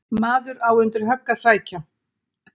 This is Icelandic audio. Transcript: Maður á undir högg að sækja.